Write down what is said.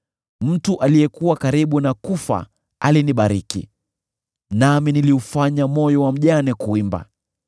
Mtu aliyekuwa karibu kufa alinibariki, nami niliufanya moyo wa mjane kuimba.